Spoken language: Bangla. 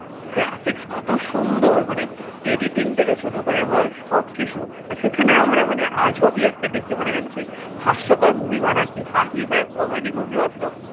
graphics কত সুন্দর মানে editing থেকে শুরু করে বল সবকিছু আর সেখানে আমরা মানে আজবই একটা দেখি মনে হয় যেন সেই হাস্যকর movie বানাচ্ছি হাসি পায় comedy movie ও তো